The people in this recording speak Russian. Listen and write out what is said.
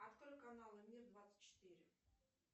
открой каналы мир двадцать четыре